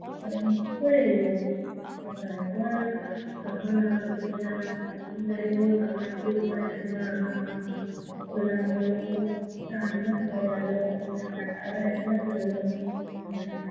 আমি কী করে এগুলো পড়বো। তো তারপর তখন হচ্ছে কি না, যাইহোক আমার তিনমাস সময় আমার পা খোলা হলো। চারমাস হয়ে গেলো। আরো একমাস লাগলো আমি আমি হাঁটতাম